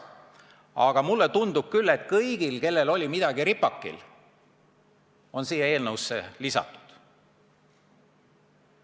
Aga mulle tundub, et kõik, kellel oli midagi ripakil, on need asjad siia eelnõusse lisanud.